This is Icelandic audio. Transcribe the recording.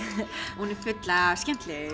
full af skemmtilegum